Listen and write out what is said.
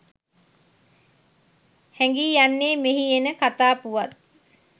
හැඟී යන්නේ මෙහි එන කථා පුවත්